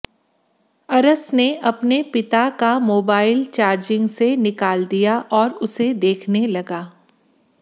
अरस ने अपने पिता का मोबाइल चार्जिंग से निकाल दिया और उसे देखने लगा